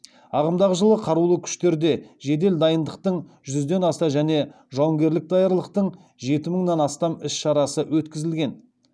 ағымдағы жылы қарулы күштерде жедел дайындықтың жүзден аса және жауынгерлік даярлықтың жеті мыңнан астам іс шарасы өткізілген